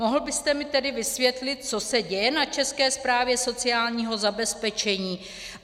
Mohl byste mi tedy vysvětlit, co se děje na České správě sociálního zabezpečení?